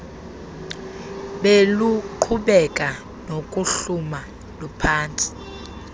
beluqhubeka nokuhluma luphantsi